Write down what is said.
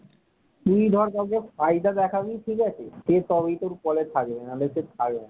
তুই ধর কাউকে ফায়দা দেখাবি ঠিক আছে, তবে সে তোর call এ থাকবে, না হলে সে থাকবে না।